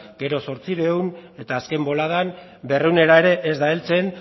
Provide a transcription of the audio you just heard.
gero zortziehun eta azken boladan berrehunera ere ez da heltzen